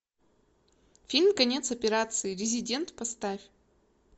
фильм конец операции резидент поставь